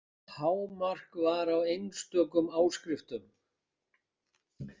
Hámark var á einstökum áskriftum.